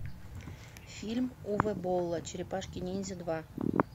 фильм уве болла черепашки ниндзя два